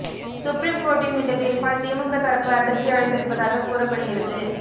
supreme கோர்ட்டின் இந்த தீர்ப்பால் திமுக தரப்பு அதிர்ச்சி அடைந்திருப்பதாக கூறப்படுகிறது